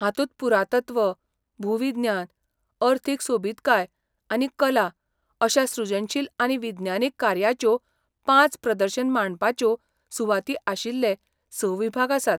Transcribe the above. हातूंत पुरातत्व, भूविज्ञान, अर्थीक सोबीतकाय आनी कला अश्या सृजनशील आनी विज्ञानीक कार्याच्यो पांच प्रदर्शन मांडपाच्यो सुवाती आशिल्ले स विभाग आसात.